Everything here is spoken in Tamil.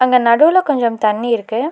அங்க நடுவுல கொஞ்சம் தண்ணி இருக்கு.